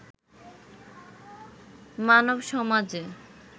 মানবসমাজে